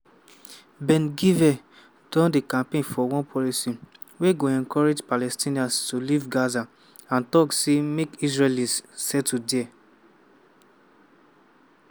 ben-gvir don dey campaign for one policy wey go encourage palestinians to leave gaza and tok say make israelis settle dia.